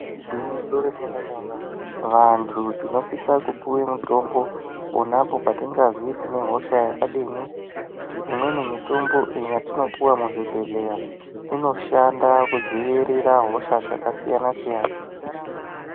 Igwinyiso remenemene vantu tinosise kupiwe mitombo ponapo patingazwi tine hosha yakadini imweni mitombo yatinopiwa muzvibhehleya inoshanda kudzivirira hosha dzakasiyana siyana.